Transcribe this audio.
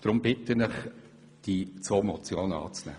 Deshalb bitte ich Sie, diese beiden Motionen anzunehmen.